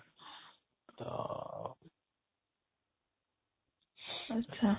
ଆଚ୍ଛା